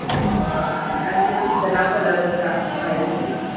आणि थय सूचना फलक असा. भायर लायले